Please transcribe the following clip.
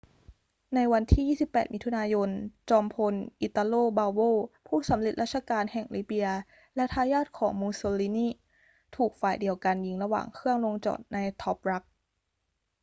ในวันที่ 28 มิถุนายน จอมพล italo balbo ผู้สำเร็จราชการแห่งลิเบียและทายาทของ mussolini ถูกฝ่ายเดียวกันยิงระหว่างเครื่องลงจอดใน tobruk